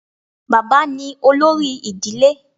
Baba ni olori idile